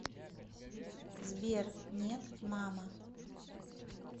сбер нет мама